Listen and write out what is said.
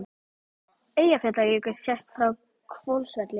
Eyjafjallajökull sést frá Hvolsvelli.